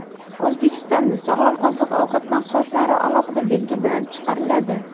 O‘zbekistonda sog‘lom oziq-ovqat mahsulotlari alohida belgi bilan chiqariladi.